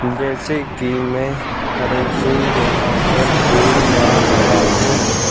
जैसे की मैं करन सिंग यहां पर देख पा रहा हूं।